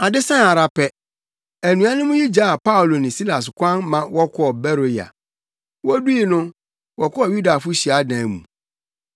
Ade sae ara pɛ, anuanom yi gyaa Paulo ne Silas kwan ma wɔkɔɔ Beroia. Wodui no, wɔkɔɔ Yudafo hyiadan mu.